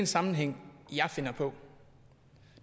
sammenhæng jeg finder på